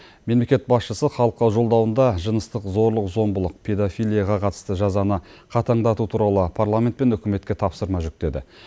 мемлекет басшысы халыққа жолдауында жыныстық зорлық зомбылық педофилияға қатысты жазаны қатаңдату туралы парламент пен үкіметке тапсырма жүктеді